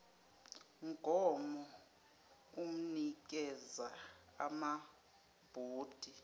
mgomo unikeza amabhodi